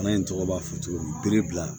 Bana in tɔgɔ b'a fɔ cogo min bere bila